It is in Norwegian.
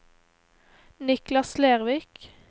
Niklas Lervik